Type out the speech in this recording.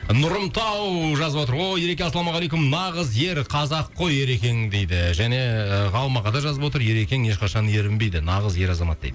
нұрымтау жазып отыр ооо ереке ассалаумағалейкум нағыз ер қазақ қой ерекең дейді және ғалым аға да жазып отыр ерекең ешқашан ерінбейді нағыз ер азамат дейді